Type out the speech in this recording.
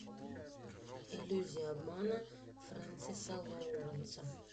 иллюзия обмана френсиса лоуренса